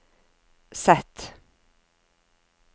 Z